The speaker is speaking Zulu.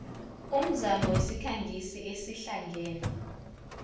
umzamo isikhangisi esihlangene